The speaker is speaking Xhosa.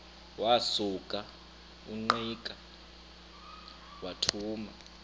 wasuka ungqika wathuma